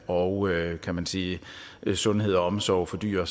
og kan man sige sundhed og omsorg for dyr